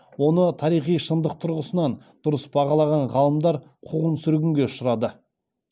оны тарихи шындық тұрғысынан дұрыс бағалаған ғалымдар қуғын сүргінге ұшырады